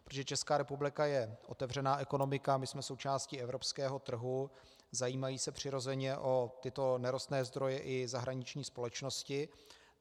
Protože Česká republika je otevřená ekonomika, my jsme součástí evropského trhu, zajímají se přirozeně o tyto nerostné zdroje i zahraniční společnosti.